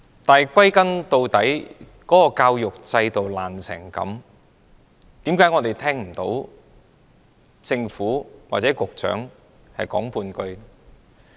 但是，歸根究底，教育制度這麼不濟，為甚麼我們聽不到政府或局長說半句話？